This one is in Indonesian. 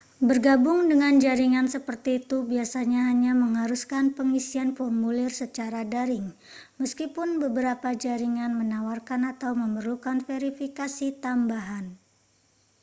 bergabung dengan jaringan seperti itu biasanya hanya mengharuskan pengisian formulir secara daring meskipun beberapa jaringan menawarkan atau memerlukan verifikasi tambahan